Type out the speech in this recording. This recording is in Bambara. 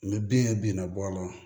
Ni bin ye bin na bɔ a la